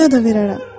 Payada verərəm.